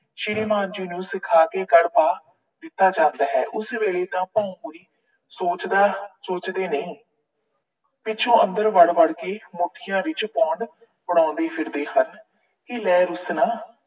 ਸ਼੍ਰੀਮਾਨ ਜੀ ਨੂੰ ਸਿਖਾ ਕੇ ਦਿੱਤਾ ਜਾਂਦਾ ਹੈ। ਉਸ ਵੇਲੇ ਤਾਂ ਸੋਚਦਾ ਅਹ ਸੋਚਦੇ ਨਹੀਂ। ਪਿੱਛੋਂ ਅੰਦਰ ਵੜ ਵੜ ਕੇ ਮੁੱਠੀਆਂ ਵਿੱਚ pound ਫੜਾਉਂਦੇ ਫਿਰਦੇ ਹਨ ਕਿ ਲੈ ਰੁੱਸ ਨਾ